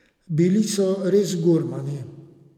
Bili so res gurmani.